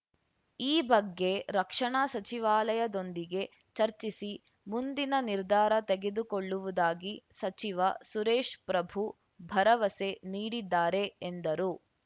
ಈ ಬಗ್ಗೆ ರಕ್ಷಣಾ ಸಚಿವಾಲಯದೊಂದಿಗೆ ಚರ್ಚಿಸಿ ಮುಂದಿನ ನಿರ್ಧಾರ ತೆಗೆದುಕೊಳ್ಳುವುದಾಗಿ ಸಚಿವ ಸುರೇಶ್‌ ಪ್ರಭು ಭರವಸೆ ನೀಡಿದ್ದಾರೆ ಎಂದರು